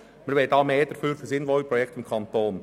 Wir wollen mehr davon für sinnvolle Projekte im Kanton».